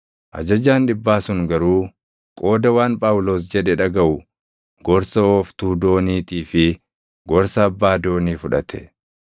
Ajajaan dhibbaa sun garuu qooda waan Phaawulos jedhe dhagaʼu gorsa ooftuu dooniitii fi gorsa abbaa doonii fudhate.